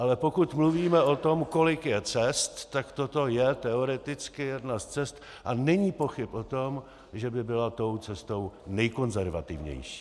Ale pokud mluvíme o tom, kolik je cest, tak toto je teoreticky jedna z cest a není pochyb o tom, že by byla tou cestou nejkonzervativnější.